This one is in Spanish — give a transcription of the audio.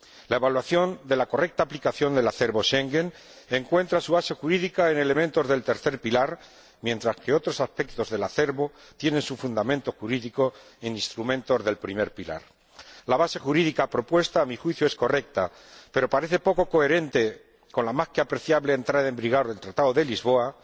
La evaluación de la correcta aplicación del acervo de Schengen encuentra su base jurídica en elementos del tercer pilar, mientras que otros aspectos del acervo tienen su fundamento jurídico en instrumentos del primer pilar. A mi juicio, el fundamento jurídico propuesto es correcto, pero parece poco coherente con la más que apreciable entrada en vigor del Tratado de Lisboa,